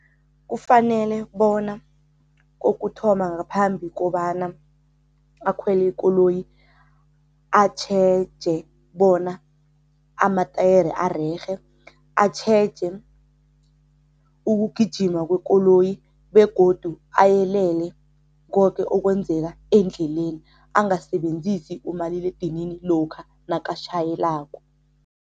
Kufanele bona kokuthoma ngaphambi kobana akhwele ikoloyi atjheje bona amatayere arerhe, atjheje ukugijima kwekoloyi begodu ayelele koke okwenzeka endleleni. Angasebenzisi umaliledinini lokha nakatjhayelako.